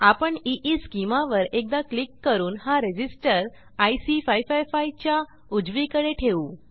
आपण ईस्केमा वर एकदा क्लिक करून हा रेझिस्टर आयसी 555 च्या उजवीकडे ठेवू